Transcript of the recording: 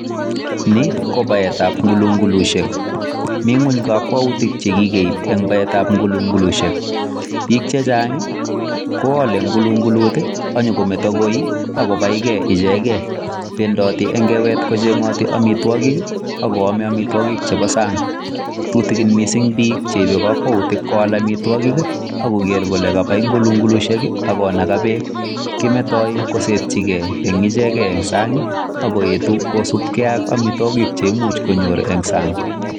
Ni ko baetab ngulungulsiek. mi ng'weny kokwoutik che kegeib en baetab ngulngulsiek, bik che chang' koale ngulungulut ak konyokometo koii ak kobaige icheget. Bendoti eng kewet kocheng'oti amitwogik ago ame amitwogik chebo sang' tutikin mising' biik che ibe kokwout kowal amitwogik ak koger kole kabai ngulunglusiek ak konaga beek. Kimetoi kosetyige en sang' koetu kosubge ak amitwogikk che imuch konyor en sang'